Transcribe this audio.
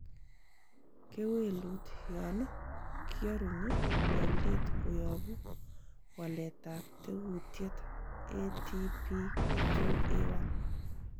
Kewelut yon kiorunyi meldet koyobu waletab tekutikiet ATP2A1.